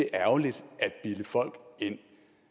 ærgerligt at bilde folk ind